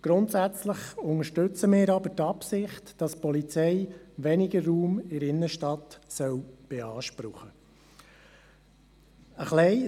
Grundsätzlich unterstützen wir aber die Forderung, wonach die Polizei in der Innenstadt weniger Raum beanspruchen soll.